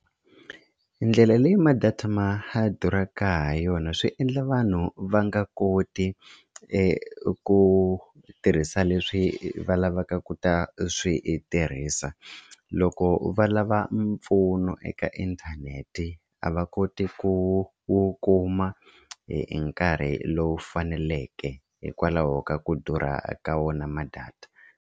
Ndlela leyi ma-data ma durhaka ha yona swi endla vanhu va nga koti ku tirhisa leswi va lavaka ku ta swi tirhisa loko va lava mpfuno eka inthanete a va koti ku wu kuma hi nkarhi lowu faneleke hikwalaho ka ku durha ka wona ma-data.